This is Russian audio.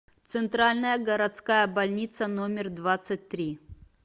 центральная городская больница номер двадцать три